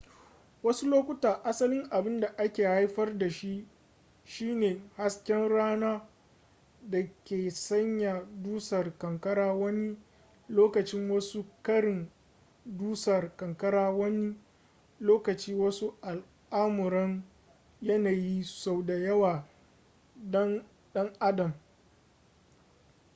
wasu lokuta asalin abin da ke haifar da shi shine hasken rana da ke sanya dusar ƙanƙara wani lokacin wasu ƙarin dusar ƙanƙara wani lokacin wasu al'amuran yanayi sau da yawa ɗan adam